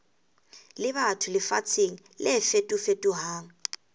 le batho lefatsheng le fetofetohang